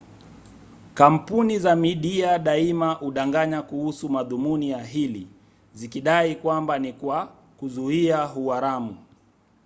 kampuni za midia daima hudanganya kuhusu madhumuni ya hili zikidai kwamba ni kwa kuzuia uharamu